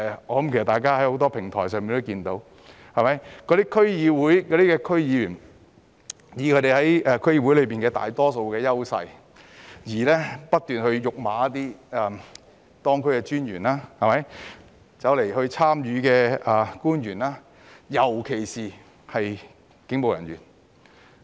我想大家透過很多平台也可以看到，那些區議員藉着他們在區議會內的大多數優勢，不斷辱罵當區專員及與會官員，尤其是警務人員。